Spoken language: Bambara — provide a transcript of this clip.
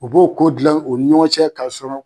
O b'o ko gilan o nin ɲɔgɔn cɛ k'a sɔrɔ